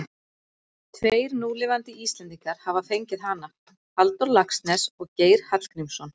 Tveir núlifandi Íslendingar hafa fengið hana, Halldór Laxness og Geir Hallgrímsson.